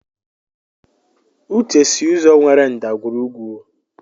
Uche si ụzọ nwere ndagwurugwu.